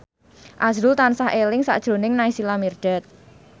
azrul tansah eling sakjroning Naysila Mirdad